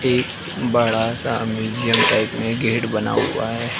एक बड़ा सा म्यूज़ीअम टाइप मे गेट बना हुआ है।